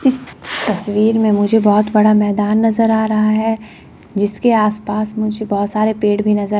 तस्वीर में मुझे बहोत बड़ा मैदान नजर आ रहा है जिसके आसपास मुझे बहोत सारे पेड़ भी नजर--